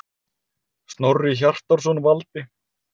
Snorri Hjartarson valdi.